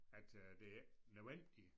At øh det er ikke nødvendigt